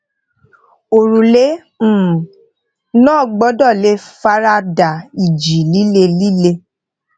òrùlé um náà gbódò lè fara da ìjì líle líle